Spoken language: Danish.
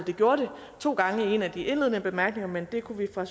det gjorde det to gange i en af de indledende bemærkninger men vi kunne fra